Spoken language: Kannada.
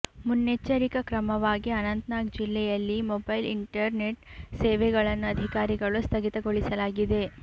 ಮುನ್ನೆಚ್ಚರಿಕ ಕ್ರಮವಾಗಿ ಅನಂತ ನಾಗ್ ಜಿಲ್ಲೆಯಲ್ಲಿ ಮೊಬೈಲ್ ಇಂಟರ್ ನೆಟ್ ಸೇವೆಗಳನ್ನು ಅಧಿಕಾರಿಗಳು ಸ್ಥಗಿತಗೊಳಿಸಲಾಗಿದೆ